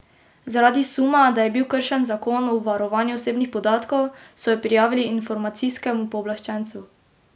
Zaradi suma, da je bil kršen zakon o varovanju osebnih podatkov, so jo prijavili informacijskemu pooblaščencu.